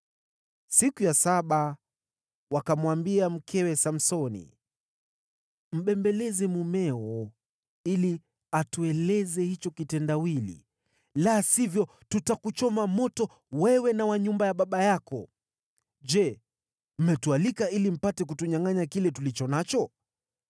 Siku ya saba, wakamwambia mkewe Samsoni, “Mbembeleze mumeo ili atueleze hicho kitendawili, la sivyo tutakuchoma moto wewe na wa nyumba ya baba yako. Je, mmetualika ili mpate kutunyangʼanya kile tulicho nacho?”